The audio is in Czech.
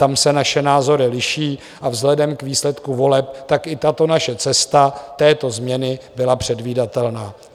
Tam se naše názory liší, a vzhledem k výsledku voleb tak i tato naše změna této změny byla předvídatelná.